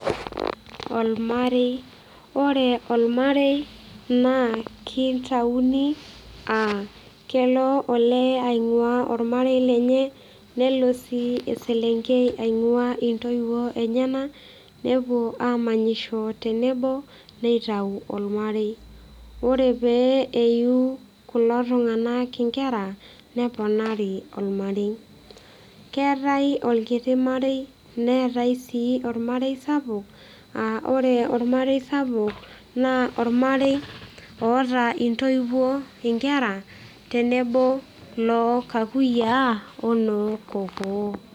olmare, ore olmarei naa kitayuni, kelo olee, aing'uaa olamerei lenye, nelo sii eselenkei, aing''uaa intoiwuo enyenak. nepuo aamanyisho tenebo nitau olamerei, ore pee eyiu kulo tung'anak nkera neponari olmarei, keetae olkiti marei neetae sii olamrei sapuk, aa ore olamarei sapuk naa olamarei, oota intoiwuo inkera, tenebo loo kakuyiaa onoo kokoo.